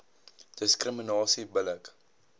diskriminasie bil lik